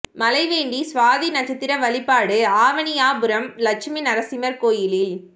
மழைவேண்டி சுவாதி நட்சத்திர வழிபாடு ஆவணியாபுரம் லட்சுமி நரசிம்மர் கோயிலில்